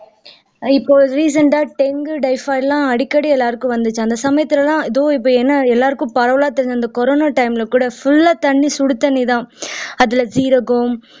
இப்போ recent ஆ dengue typhoid எல்லாம் அடிகடி எல்லாருக்கும் வந்துச்சு அந்த சமயத்துல எல்லாம் எதோ இப்ப என்ன எல்லாருக்கும் பரவலா தெரிஞ்ச அந்த கொரோனா time ல கூட full ஆ சுடுதண்ணிதான் அதுல ஜீரகம்